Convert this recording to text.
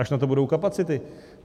Až na to budou kapacity.